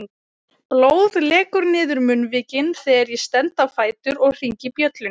Blóð lekur niður munnvikin þegar ég stend á fætur og hringi bjöllunni.